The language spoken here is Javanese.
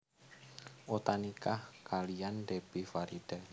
Utha nikah kaliyan Debbie Farida